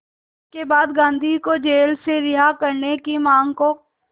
इसके बाद गांधी को जेल से रिहा करने की मांग को